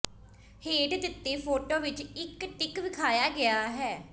ਹੇਠ ਦਿੱਤੇ ਫੋਟੋ ਵਿੱਚ ਇੱਕ ਟਿੱਕ ਵਖਾਇਆ ਗਿਆ ਹੈ